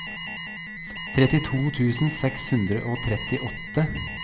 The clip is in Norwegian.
trettito tusen seks hundre og trettiåtte